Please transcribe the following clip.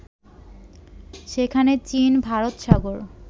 সেখানে চীন ভারতসাগর